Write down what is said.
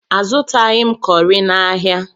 Azụtaghi m kọrị n'ahia.